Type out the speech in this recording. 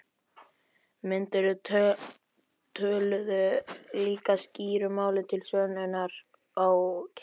Myndirnar töluðu líka skýru máli til sönnunar á kenningum